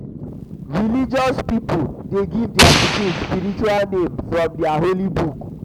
religious pipo de give their pikin spiritual name from their holy book